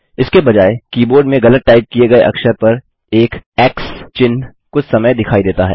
इसके बजाय कीबोर्ड में गलत टाइप किए गए अक्षर पर एक एक्स चिन्ह कुछ समय दिखाई देता है